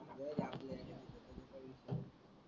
,